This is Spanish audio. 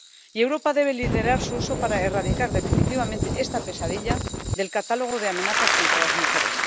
Y Europa debe liderar su uso para erradicar definitivamente esta pesadilla del catálogo de amenazas contra las mujeres.